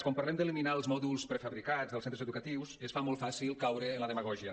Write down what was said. quan parlem d’eliminar els mòduls prefabricats dels centres educatius es fa molt fàcil caure en la demagògia